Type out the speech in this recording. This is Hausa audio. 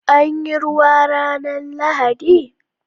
Anyi ruwa ranar lahadi?